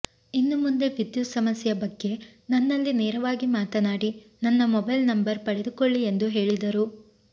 ಇನ್ನುಮುಂದೆ ವಿದ್ಯುತ್ ಸಮಸ್ಯೆಯ ಬಗ್ಗೆ ನನ್ನಲ್ಲಿ ನೇರವಾಗಿ ಮಾತನಾಡಿ ನನ್ನ ಮೊಬೈಲ್ ನಂಬರ್ ಪಡೆದುಕೊಳ್ಳಿ ಎಂದು ಹೇಳಿದರು